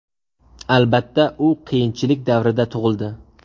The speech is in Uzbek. Albatta, u qiyinchilik davrida tug‘ildi.